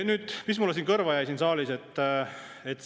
Nüüd, mis mulle kõrva jäi siin saalis?